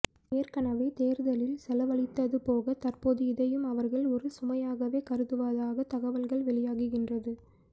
ஏற்கனவே தேர்தலில் செலவழித்தது போக தற்போது இதையும் அவர்கள் ஒரு சுமையாகவே கருதுவதாகத் தகவல்கள் வெளியாகின்றது